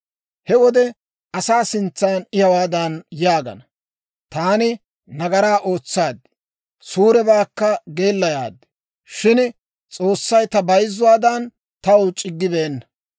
He wode asaa sintsan I hawaadan yaagana; ‹Taani nagaraa ootsaad; suurebaakka geellayaad; shin S'oossay ta bayzzuwaadan taw c'iggibeenna.